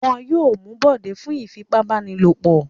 Wọn yóò mú Bọ̀dé fún ìfipábánilòpọ̀.